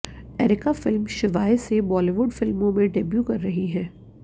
areca film Shivaay से Bollywood फिल्मों में डेब्यू कर रही हैं